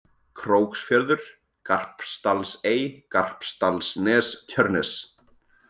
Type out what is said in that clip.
Króksfjörður, Garpsdalsey, Garpsdalsnes, Tjörnes